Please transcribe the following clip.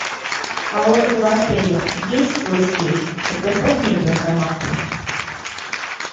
а у этого отеля есть свой сейф предоставь мне эту информацию